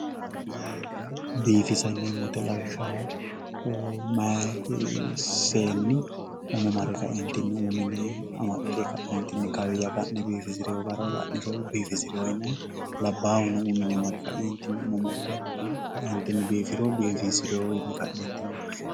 Biifissate yineemmo woyte lawishshaho mayi seenni umo marre kaentinni umu mine mare umo amaxxe kaentinni kawiya biifisirino gara la'niro biifisirino yinanni labbahuno umu mine mare kaentinni biifisiriro biifisi'no.